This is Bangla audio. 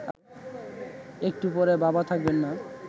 একটু পরে বাবা থাকবেন না